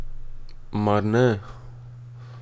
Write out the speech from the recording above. Mar ne?